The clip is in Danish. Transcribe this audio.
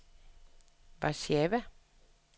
Warszawa